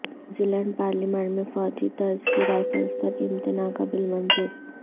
نیوزی Zealand parliament میں فوجی طرز کی رائفلز پر امتناع کا بل منظور